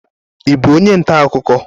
Ị bụ onye ntaakụkọ?